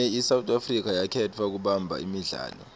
ngo may isouth africa yakhetfwa kubamba imidlalo